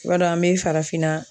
I b'a dɔn an be farafinna